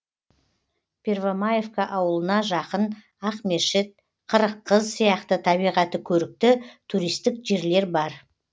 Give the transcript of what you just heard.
первомаевка ауылына жақын ақмешіт қырыққыз сияқты табиғаты көрікті туристік жерлер бар